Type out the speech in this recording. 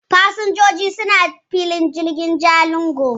Fasinjoji suna filin jirgin Jalingo.